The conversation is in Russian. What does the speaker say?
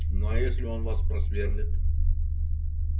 ну а если он вас просверлит